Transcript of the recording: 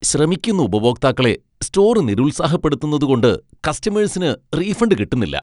ശ്രമിക്കുന്ന ഉപഭോക്താക്കളെ സ്റ്റോർ നിരുത്സാഹപ്പെടുത്തുന്നതു കൊണ്ട് കസ്റ്റമേഴ്സിന് റീഫണ്ട് കിട്ടുന്നില്ല.